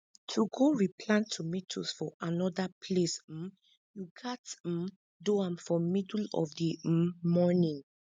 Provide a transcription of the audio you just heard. to go replant tomatoes for anoda place um you gats um do am for middle of di um morning